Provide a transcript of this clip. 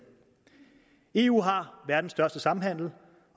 eu har verdens største samhandel